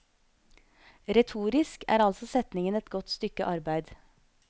Retorisk er altså setningen et godt stykke arbeid.